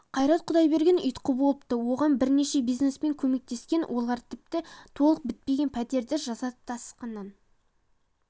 қайрат құдайберген ұйытқы болыпты оған бірнеше бизнесмен көмектескен олар тіпті толық бітпеген пәтерді жасатып тасқыннан